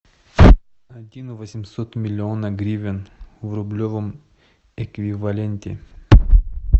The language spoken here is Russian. один восемьсот миллиона гривен в рублевом эквиваленте